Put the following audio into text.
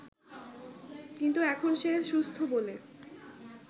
কিন্তু এখন সে সুস্থ বলে